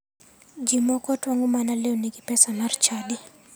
Ji moko tuang'o mana lweni gi pesa mar chadi